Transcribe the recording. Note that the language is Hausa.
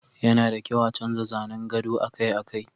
yana da kyau a canza zanen gado akai-akai